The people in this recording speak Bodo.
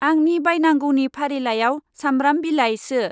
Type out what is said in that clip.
आंनि बायनांगौनि फारिलाइआव साम्ब्राम बिलाय सो।